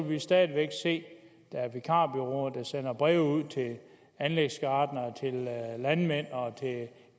vi stadig væk se at der er vikarbureauer der sender breve ud til anlægsgartnere landmænd